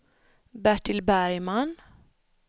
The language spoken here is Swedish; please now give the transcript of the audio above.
Bertil Bergman